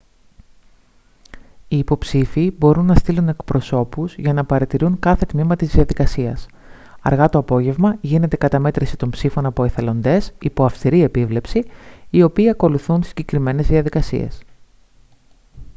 οι υποψήφιοι μπορούν να στείλουν εκπροσώπους για να παρατηρούν κάθε τμήμα της διαδικασίας αργά το απόγευμα γίνεται καταμέτρηση των ψήφων από εθελοντές υπό αυστηρή επίβλεψη οι οποίοι ακολουθούν συγκεκριμένες διαδικασίες